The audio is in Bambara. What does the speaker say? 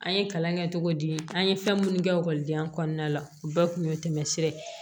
An ye kalan kɛ cogo di an ye fɛn minnu kɛ ekɔlidenya kɔnɔna la u bɛɛ kun ye tɛmɛ sira ye